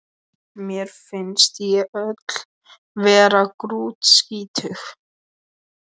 Mér finnst ég öll vera grútskítug